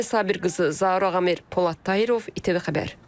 Mayə Sabirqızı, Zaur Ağamir, Polad Tayırov, İTV Xəbər.